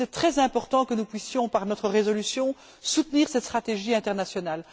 C'est très important que nous puissions, par notre résolution, soutenir cette stratégie internationale.